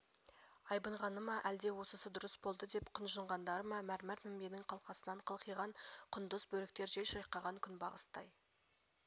айбынғаны ма әлде осысы дұрыс болды деп құнжыңдағандары ма мәрмәр мінбенің қалқасынан қылқиған құндыз бөріктер жел шайқаған күнбағыстай